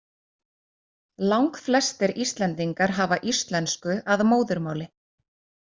Langflestir Íslendingar hafa íslensku að móðurmáli.